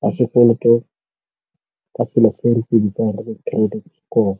wa sekoloto ka selo se re se bitsang credit score.